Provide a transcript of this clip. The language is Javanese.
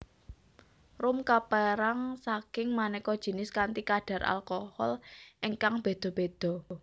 Rum kapérang saking maneka jinis kanthi kadar alkohol ingkang béda béda